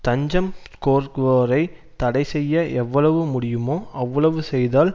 தஞ்சம் கோருவோரை தடைசெய்ய எவ்வளவு முடியுமோ அவ்வளவு செய்தால்